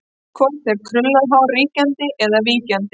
Hvort er krullað hár ríkjandi eða víkjandi?